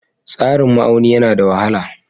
Tsarin ma'auni yana da wahala.